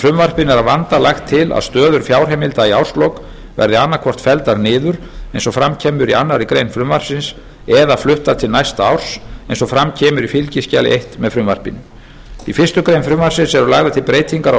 frumvarpinu er að vanda lagt til að stöður fjárheimilda í árslok verði annaðhvort felldar niður eins og fram kemur í annarri grein frumvarpsins eða fluttar til næsta árs eins og fram kemur í fylgiskjali eins með frumvarpinu í fyrstu grein frumvarpsins eru lagðar til breytingar á